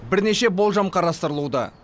бірнеше болжам қарастырылуда